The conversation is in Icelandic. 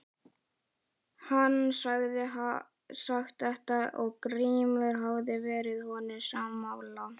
Hann hafði sagt þetta og Grímur hafði verið honum sammála.